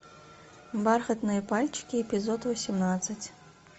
бархатные пальчики эпизод восемнадцать